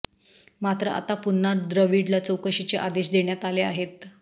मात्र आता पुन्हा द्रविडला चौकशीचे आदेश देण्यात आले आहेत